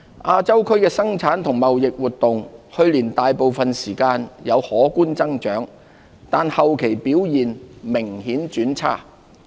亞洲區的生產及貿易活動，去年大部分時間有可觀增長，但後期表現明顯轉差。